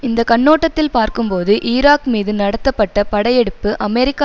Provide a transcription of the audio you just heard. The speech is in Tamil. இந்த கண்ணோட்டத்தில் பார்க்கும்போது ஈராக் மீது நடத்தப்பட்ட படையெடுப்பு அமெரிக்க